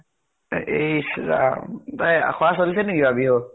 ইছ ৰাম ! এ আখৰা চলিছে নেকি এবাৰ বিহুৰ